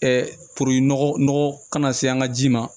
puru nɔgɔ kana se an ka ji ma